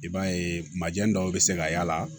I b'a ye majɛ dɔw be se ka y'a la